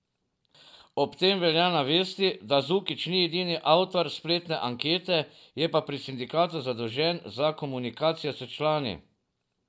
Ob tem velja navesti, da Zukić ni edini avtor spletne ankete, je pa pri sindikatu zadolžen za komunikacijo s člani.